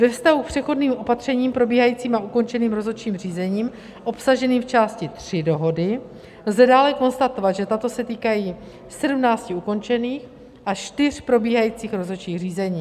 Ve vztahu k přechodným opatřením probíhajícím a ukončeným rozhodčím řízením, obsaženým v části 3 dohody, lze dále konstatovat, že tato se týkají 17 ukončených a 4 probíhajících rozhodčích řízení.